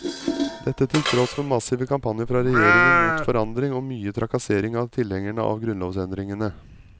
Dette til tross for massive kampanjer fra regjeringen mot forandring og mye trakassering av tilhengerne av grunnlovsendringene.